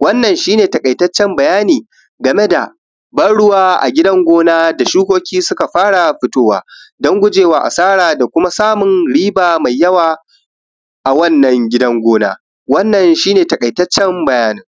wannan shine taƙaitaccen bayani game da ban ruwa a gidan gona da shukoki suka fara fitowa don gujewa asara domin samun riba mai yawa wannan gidan gona wannan shi ne taƙaitaccen bayanin